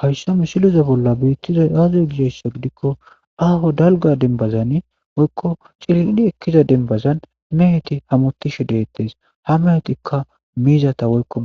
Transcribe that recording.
Haysso mishiloza bolla biittiza aaze gidasi gidikko aho dalga denbazani woykko ciliini ekkiza denbazan meheti hamotishe deettes ha mehetikka miizata woykko